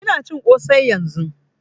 Ina cin kosai yanzun